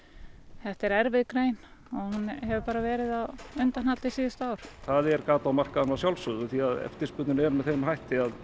þetta er erfið grein og hún hefur verið á undahaldi síðustu ár það er gat á markaðnum að sjálfsögðu því eftirspurnin er með þeim hætti að